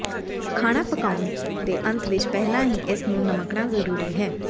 ਖਾਣਾ ਪਕਾਉਣ ਦੇ ਅੰਤ ਵਿਚ ਪਹਿਲਾਂ ਹੀ ਇਸ ਨੂੰ ਨਮਕਣਾ ਜ਼ਰੂਰੀ ਹੈ